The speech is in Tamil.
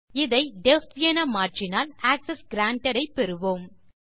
இதை டெஃப் என மாற்றினால் ஆக்செஸ் கிரான்டட் ஐ பெறுவோம்